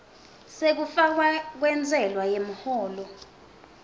sekufakwa kwentsela yemholo